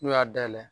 N'u y'a dayɛlɛ